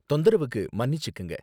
தொந்தரவுக்கு மன்னிச்சுக்கங்க.